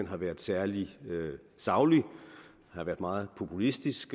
har været særlig saglig den har været meget populistisk